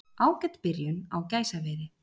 Ágæt byrjun á gæsaveiði